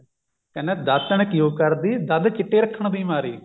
ਕਹਿੰਦਾ ਦਾਤਣ ਕਿਉਂ ਕਰਦੀ ਦੰਦ ਚਿੱਟੇ ਰੱਖਣ ਦੀ ਮਾਰੀ